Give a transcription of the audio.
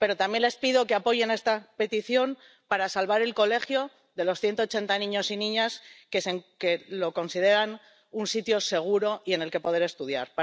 Pero también les pido que apoyen esta petición para salvar el colegio de los 180 niños y niñas que lo consideran un sitio seguro y en el que poder estudiar.